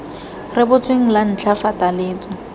rebotsweng la ntlha fa taletso